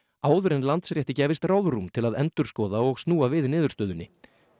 áður en Landsrétti gæfist ráðrúm til að endurskoða og snúa við niðurstöðunni